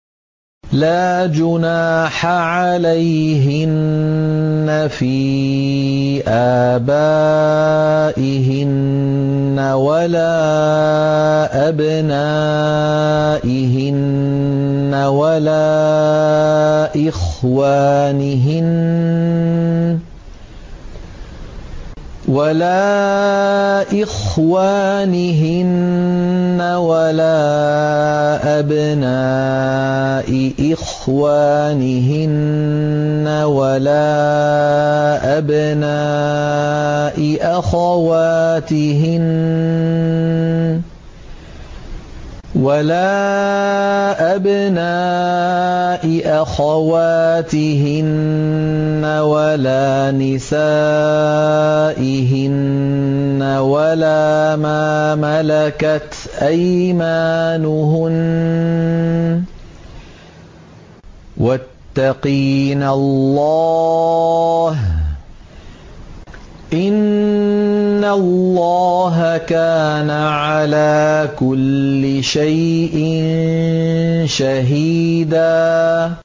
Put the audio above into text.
لَّا جُنَاحَ عَلَيْهِنَّ فِي آبَائِهِنَّ وَلَا أَبْنَائِهِنَّ وَلَا إِخْوَانِهِنَّ وَلَا أَبْنَاءِ إِخْوَانِهِنَّ وَلَا أَبْنَاءِ أَخَوَاتِهِنَّ وَلَا نِسَائِهِنَّ وَلَا مَا مَلَكَتْ أَيْمَانُهُنَّ ۗ وَاتَّقِينَ اللَّهَ ۚ إِنَّ اللَّهَ كَانَ عَلَىٰ كُلِّ شَيْءٍ شَهِيدًا